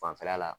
Fanfɛla la